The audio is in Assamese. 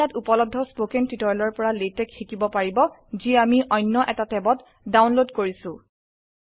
আপোনি ইয়াত উপলব্ধ স্পকেন টিউটোৰিয়েলৰ পৰা লাতেশ শিকিব পাৰিব যি আমি অন্য এটা ট্যাবত ডাউনলোড কৰিছো